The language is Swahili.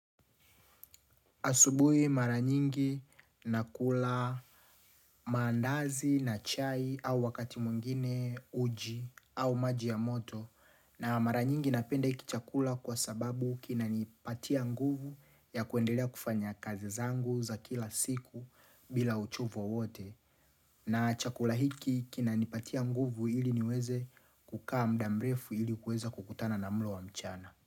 Asubuhi mara nyingi nakula mandazi na chai au wakati mwingine uji au maji ya moto na mara nyingi napenda hiki chakula kwa sababu kinanipatia nguvu ya kuendelea kufanya kazi zangu za kila siku bila uchovu wowote na chakula hiki kinanipatia nguvu ili niweze kukaa muda mrefu ili kuweza kukutana na mlo wa mchana.